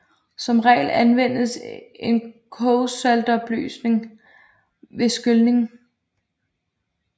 Som regel anvendes en kogsaltopløsning ved skylning